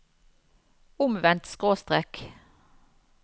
omvendt skråstrek